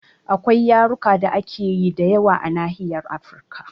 Akwai yarurruka da ake yi da yawa a Nahiyar Afrika